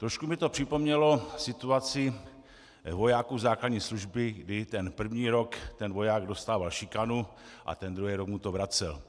Trochu mi to připomnělo situaci vojáků základní služby, kdy ten první rok ten voják dostával šikanu a ten druhý rok mu to vracel.